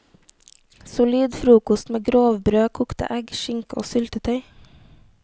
Solid frokost med grovbrød, kokte egg, skinke og syltetøy.